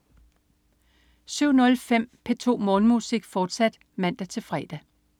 07.05 P2 Morgenmusik, fortsat (man-fre)